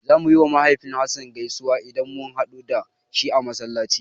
Zamu yiwa mahaifin Hassan gaisuwa idan mun haɗu da shi a Masallaci.